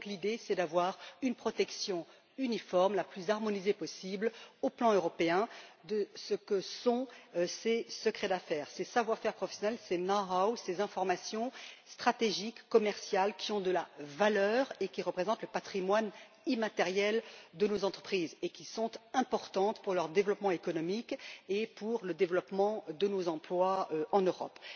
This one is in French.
L'idée est donc d'avoir une protection uniforme la plus harmonisée possible au niveau européen de ce que sont ces secrets d'affaires, ces savoir faire professionnels, ces know how ces informations stratégiques, commerciales, qui ont de la valeur, qui représentent le patrimoine immatériel de nos entreprises et qui sont importants pour leur développement économique et pour le développement de nos emplois en Europe.